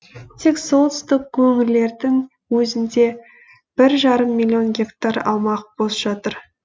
тек солтүстік өңірлердің өзінде бір жарым миллион гектар аумақ бос жатыр